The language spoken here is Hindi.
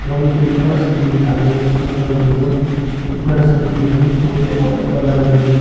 मुझे एक बड़ा सा दिखाई दे रहे उसका अंदर में जो एक बार ऐसा मशीन है वो जो वाइट कलर में।